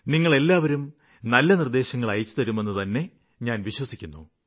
നിങ്ങളെല്ലാവരും നല്ല നിര്ദ്ദേശങ്ങള് അയച്ചുതരുമെന്നുതന്നെ ഞാന് വിശ്വസിക്കുന്നു